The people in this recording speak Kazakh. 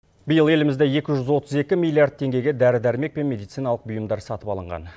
биыл елімізде екі жүз отыз екі миллиард теңгеге дәрі дәрмек пен медициналық бұйымдар сатып алынған